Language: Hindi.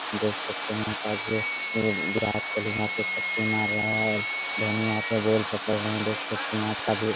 देख सकते हैं आज वी विराट कोहली यहाँ पर छक्के मार रहा है और धोनी यहाँ पे बॉल पकड़ रहा है देख सकते है आपका भी --